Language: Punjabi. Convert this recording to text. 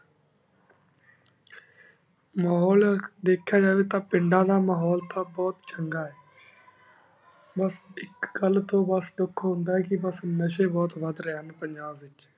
ਮਹੁਲ ਦੇਖੇਯਾ ਜੇ ਤਾਂ ਪੁਨ੍ਦਾਂ ਦਾ ਮਹੁਲ ਅਜੇ ਬੁਹਤ ਚੰਗਾ ਆਯ ਬਸ ਏਕ ਘਾਲ ਤੂੰ ਬਸ ਧੁਖ ਹੁੰਦਾ ਆਯ ਕੀ ਬ ਨਾਸ਼੍ਯਨ ਬੁਹਤ ਵਾਦ ਰਹੀ ਨਯਨ ਪੰਜਾਬ ਵੇਚ